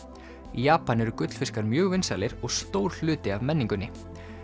í Japan eru gullfiskar mjög vinsælir og stór hluti af menningunni